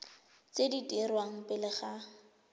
tse di dirwang pele ga